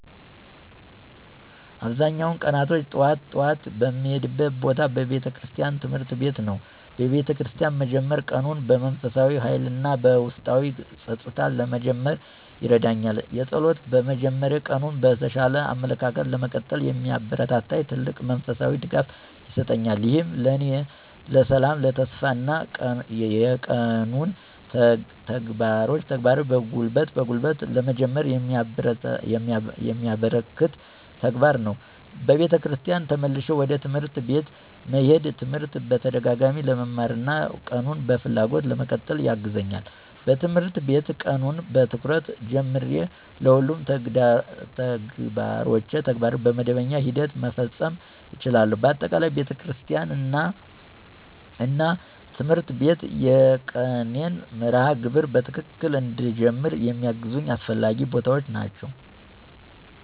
አብዛኛውን ቀናቶች ጠዋት ጠዋት የምሄድበት ቦታ ቤተክርስቲያን እና ትምህርት ቤት ነው። በቤተክርስቲያን መጀመር ቀኑን በመንፈሳዊ ኃይል እና በውስጣዊ ጸጥታ ለመጀመር ይረዳኛል። የጸሎት መጀመሬ ቀኑን በተሻለ አመለካከት ለመቀጠል የሚያበረታታኝ ትልቅ መንፈሳዊ ድጋፍ ይሰጠኛል። ይህም ለእኔ ሰላም፣ ተስፋ እና የቀኑን ተግባሮች በጉልበት ለመጀመር የሚያበረከት ተግባር ነው። ከቤተክርስቲያን ተመልሼ ወደ ትምህርት ቤት መሄዴ ትምህርት በተደጋጋሚ ለመማር እና ቀኑን በፍላጎት ለመቀጠል ያግዛኛል። በትምህርት ቤት ቀኑን በትኩረት ጀመርቼ ሁሉንም ተግባሮቼን በመደበኛ ሂደት መፈጸም እችላለሁ። በአጠቃላይ፣ ቤተክርስቲያን እና ትምህርት ቤት የቀኔን መርሃ ግብር በትክክል እንድጀመር የሚያግዙ አስፈላጊ ቦታዎች ናቸው።